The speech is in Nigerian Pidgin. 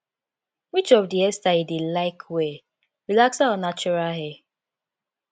which of di hair style you dey like well relaxer or natural hair